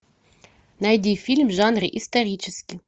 найди фильм в жанре исторический